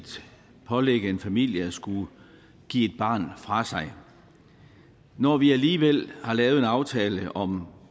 pålægge en familie at skulle give et barn fra sig når vi alligevel har lavet en aftale om